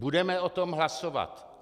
Budeme o tom hlasovat.